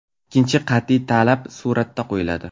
Ikkinchi qat’iy talab suratga qo‘yiladi.